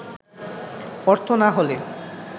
অর্থ না হলে